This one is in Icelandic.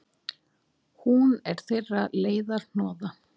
Hún er þeirra leiðarhnoða.